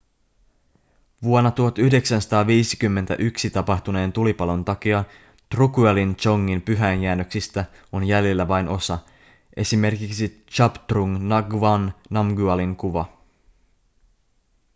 vuonna 1951 tapahtuneen tulipalon takia drukyalin dzongin pyhäinjäännöksistä on jäljellä vain osa esimerkiksi zhabdrung ngawang namgyalin kuva